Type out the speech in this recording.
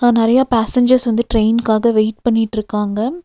நெறைய பேசஞ்சர்ஸ் வந்து ட்ரெயின்காக வெயிட் பண்ணிட்ருக்காங்க.